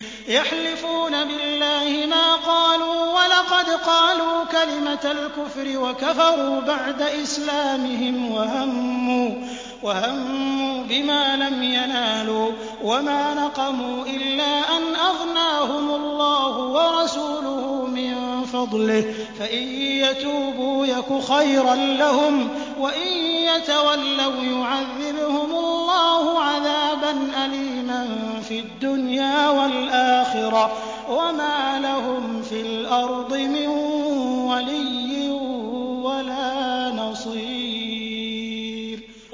يَحْلِفُونَ بِاللَّهِ مَا قَالُوا وَلَقَدْ قَالُوا كَلِمَةَ الْكُفْرِ وَكَفَرُوا بَعْدَ إِسْلَامِهِمْ وَهَمُّوا بِمَا لَمْ يَنَالُوا ۚ وَمَا نَقَمُوا إِلَّا أَنْ أَغْنَاهُمُ اللَّهُ وَرَسُولُهُ مِن فَضْلِهِ ۚ فَإِن يَتُوبُوا يَكُ خَيْرًا لَّهُمْ ۖ وَإِن يَتَوَلَّوْا يُعَذِّبْهُمُ اللَّهُ عَذَابًا أَلِيمًا فِي الدُّنْيَا وَالْآخِرَةِ ۚ وَمَا لَهُمْ فِي الْأَرْضِ مِن وَلِيٍّ وَلَا نَصِيرٍ